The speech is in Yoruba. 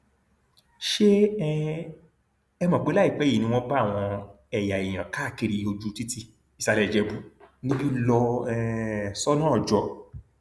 ṣé um ẹ mọ pé láìpẹ yìí ni wọn bá àwọn ẹyà èèyàn káàkiri ojú títí ìsàlẹ ìjẹbù níbí lọ um sọnà ọjọ